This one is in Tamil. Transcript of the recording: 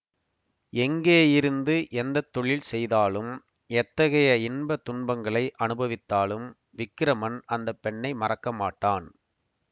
எங்கே இருந்து எந்த தொழில் செய்தாலும் எத்தகைய இன்ப துன்பங்களை அனுபவித்தாலும் விக்கிரமன் அந்த பெண்ணை மறக்க மாட்டான்